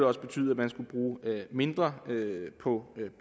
også betyde at man skulle bruge mindre på